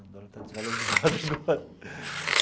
O dólar está desvalorizado agora.